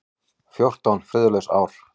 Fjórtán friðlaus ár.